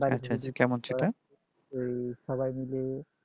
ওই সবাই মিলে